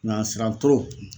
Ɲansira